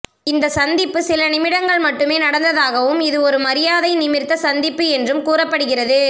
இந்த சந்திப்பு சில நிமிடங்கள் மட்டுமே நடந்ததாகவும் இது ஒரு மரியாதை நிமிர்த்த சந்திப்பு என்றும் கூறப்படுகிறது